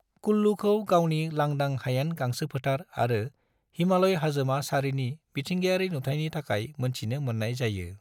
कुल्लूखौ गावनि लांदां हायेन गांसोफोथार आरो हिमालय हाजोमा सारिनि मिथिंगायारि नुथायनि थाखाय मोनथिनो मोननाय जायो।